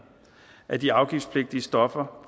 af de afgiftspligtige stoffer